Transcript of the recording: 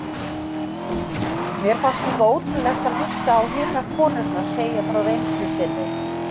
Mér fannst líka ótrúlegt að hlusta á hinar konurnar segja frá reynslu sinni.